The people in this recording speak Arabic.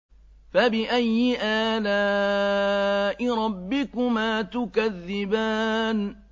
فَبِأَيِّ آلَاءِ رَبِّكُمَا تُكَذِّبَانِ